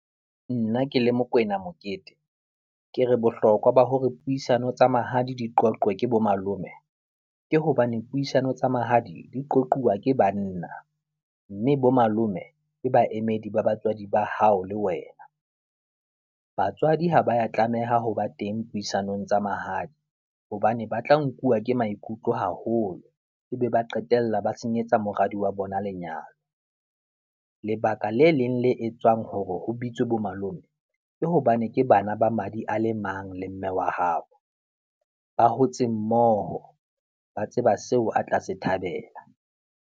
Nna ke le Mokoena Mokete, ke re bohlokwa ba hore puisano tsa mahadi di qoqwe ke bomalome ke hobane puisano tsa mahadi di qoquwa ke banna mme bo malome le baemedi ba batswadi ba hao le wena. Batswadi ha ba ya tlameha ho ba teng puisanong tsa mahadi hobane ba tla nkuwa ke maikutlo haholo ebe ba qetella ba senyetsa moradi wa bona lenyalo. Lebaka le leng le etswang hore ho bitswe bomalome ke hobane ke bana ba madi a le mang le mme wa hao, ba hotse mmoho, ba tseba seo a tla se thabela.